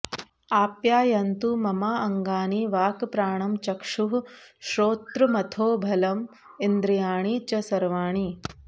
आप्यायन्तु ममाङ्गानि वाक् प्राणं चक्षुः श्रोत्रमथो बलम् इन्द्रियाणि च सर्वाणि